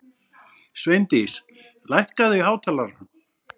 Sveindís, lækkaðu í hátalaranum.